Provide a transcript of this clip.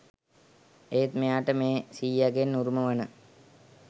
ඒත්‍ ‍මෙ‍යා‍ට ‍මේ ‍සී‍ය‍ගෙන්‍ ‍උ‍රු‍ම‍ව‍න